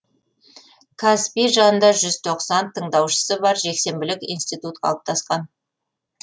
қазпи жанында тындаушысы бар жексенбілік институт қалыптасқан